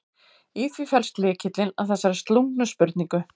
Í því felst lykillinn að þessari slungnu spurningu.